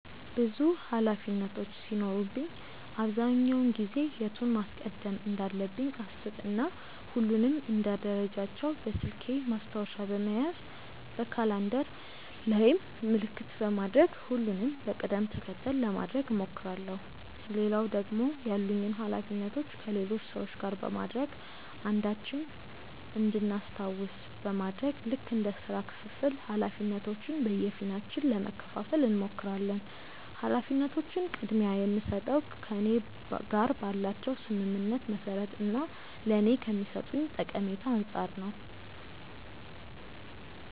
ብዙ ኃላፊነቶች ሲኖሩብኝ አብዛኛውን ጊዜ የቱን ማስቀደም እንዳለብኝ አሰብ እና ሁሉንም እንደ ደረጃቸው በስልኬ ማስታወሻ በመያዝ በካላንደር ላይም ምልክት በማድረግ ሁሉንም በቅድም ተከተል ለማድረግ እሞክራለው። ሌላው ደግሞ ያሉኝን ኃላፊነቶች ከሌሎች ሰዎች ጋር በማድረግ አንዳችን እንድናስታውስ በማድረግ ልክ እንደ ስራ ክፍፍል ኃላፊነቶችን በየፊናችን ለመከፈፋል እንሞክራለን። ኃላፊነቶችን ቅድምያ የምስጠው ከእኔ ጋር ባላቸው ስምምነት መሰረት እና ለኔ ከሚሰጡኝ ጠቀሜታ አንፃር ነው።